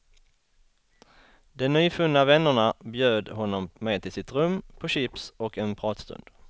De nyfunna vännerna bjöd honom med till sitt rum på chips och en pratstund.